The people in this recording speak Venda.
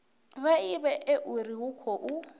vha ivhe uri hu khou